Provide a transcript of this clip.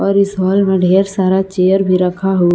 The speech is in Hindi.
और इस हॉल में ढेर सारा चेयर भी रखा हु--